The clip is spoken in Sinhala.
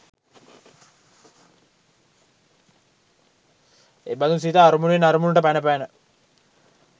එබඳු සිත අරමුණෙන් අරමුණට පැන පැන